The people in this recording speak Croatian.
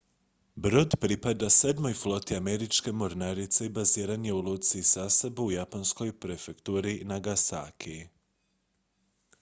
brod pripada sedmoj floti američke mornarice i baziran je u luci sasebo u japanskoj prefekturi nagasaki